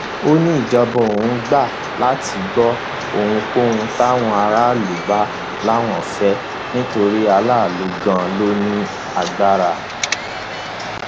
ó ní ìjọba òun gbà láti gbọ ohunkóhun táwọn aráàlú bá láwọn ń fẹ torí aráàlú ganan ló ní agbára